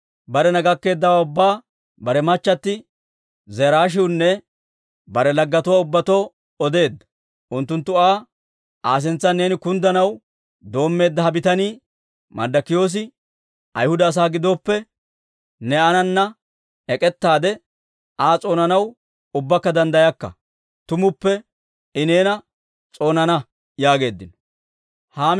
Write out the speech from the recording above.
Barena gakkeeddawaa ubbaa bare machchatti Zereeshiwunne bare laggetuwaa ubbatoo odeedda. Unttunttu Aa, «Aa sintsan neeni kunddanaw doommeedda ha bitanii, Marddokiyoosi, Ayhuda asaa gidooppe, ne aanana ek'ettaade, Aa s'oonanaw ubbakka danddayakka; tumuppe I neena s'oonana» yaageeddino.